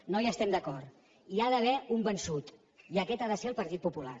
no hi estem d’acord hi ha d’haver un vençut i aquest ha de ser el partit popular